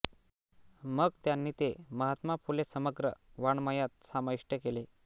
मग त्यांनी ते महात्मा फुले समग्र वाङ्मयात समाविष्ट केले